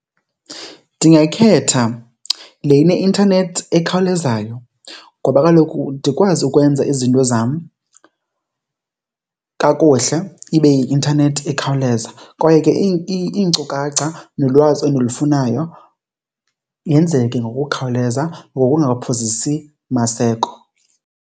Ndingakhetha le ineintanethi ekhawulezayo ngoba kaloku ndikwazi ukwenza izinto zam kakuhle ibe i-intanethi ikhawuleza, kwaye ke iinkcukacha nolwazi endilufunayo yenzeke ngokukhawuleza ngokungaphozisi maseko.